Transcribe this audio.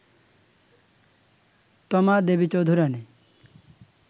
Toma Devi Chaudhurani